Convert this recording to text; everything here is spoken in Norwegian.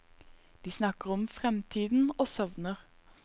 De snakker om fremtiden og sovner.